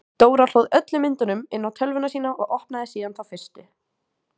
Dóra hlóð öllum myndunum inn á tölvuna sína og opnaði síðan þá fyrstu.